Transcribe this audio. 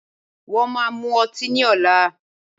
Wọ́n máa mu ọtí ní ọ̀la